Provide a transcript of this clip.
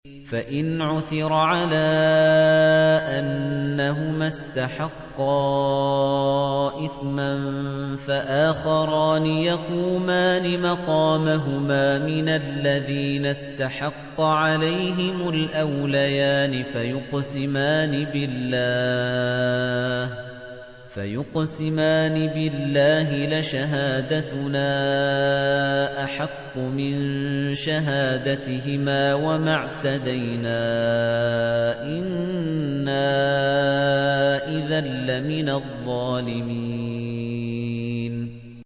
فَإِنْ عُثِرَ عَلَىٰ أَنَّهُمَا اسْتَحَقَّا إِثْمًا فَآخَرَانِ يَقُومَانِ مَقَامَهُمَا مِنَ الَّذِينَ اسْتَحَقَّ عَلَيْهِمُ الْأَوْلَيَانِ فَيُقْسِمَانِ بِاللَّهِ لَشَهَادَتُنَا أَحَقُّ مِن شَهَادَتِهِمَا وَمَا اعْتَدَيْنَا إِنَّا إِذًا لَّمِنَ الظَّالِمِينَ